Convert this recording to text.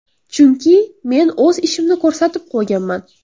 Chunki men o‘z ishimni ko‘rsatib qo‘yganman.